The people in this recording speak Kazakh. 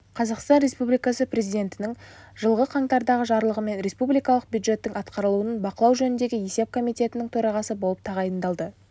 қазақстан республикасы президентінің жылғы қаңтардағы жарлығымен республикалық бюджеттің атқарылуын бақылау жөніндегі есеп комитетінің төрағасы болып тағайындалды